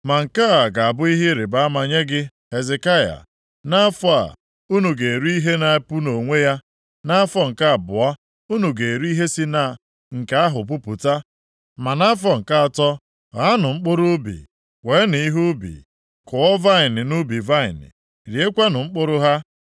“Ma nke a ga-abụ ihe ịrịbama + 37:30 Ya bụ, akara nye gị, Hezekaya. “Nʼafọ a, unu ga-eri ihe na-epu nʼonwe ya, nʼafọ nke abụọ unu ga-eri ihe si na nke ahụ pupụta. Ma nʼafọ nke atọ ghaanụ mkpụrụ ubi, weenụ ihe ubi, kụọ vaịnị nʼubi vaịnị, riekwanụ mkpụrụ ha.